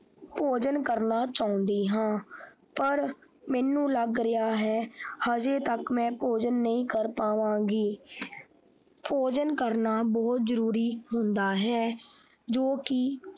ਭੋਜਨ ਕਰਨਾ ਚਾਹੁੰਦੀ ਹਾਂ ਪਰ ਮੈਨੂੰ ਲੱਗ ਰਿਹਾ ਹੈ ਹਜੇ ਤੱਕ ਮੈਂ ਭੋਜਨ ਨਹੀਂ ਕਰ ਪਾਵਾਂਗੀ ਭੋਜਨ ਕਰਨਾ ਬਹੁਤ ਜਰੂਰੀ ਹੁੰਦਾ ਹੈ ਜੋ ਕਿ।